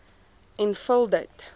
en vul dit